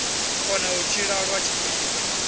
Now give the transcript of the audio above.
kona u tshila lwa tshifhinga